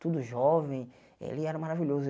tudo jovem, ele era maravilhoso.